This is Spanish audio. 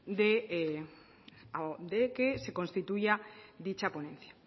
de que se constituya dicha ponencia